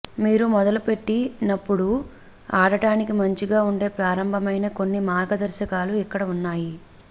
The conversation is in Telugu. మీరు మొదలుపెట్టినప్పుడు ఆడటానికి మంచిగా ఉండే ప్రారంభమైన కొన్ని మార్గదర్శకాలు ఇక్కడ ఉన్నాయి